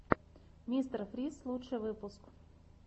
мистер фриз лучший выпуск